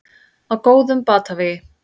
Á góðum batavegi